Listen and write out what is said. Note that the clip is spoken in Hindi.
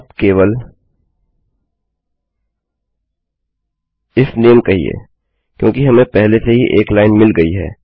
आप केवल इफ नामे कहना क्योंकि हमें पहले ही एक लाइन मिल गई है